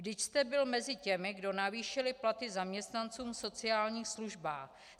Vždyť jste byl mezi těmi, kdo navýšil platy zaměstnancům v sociálních službách.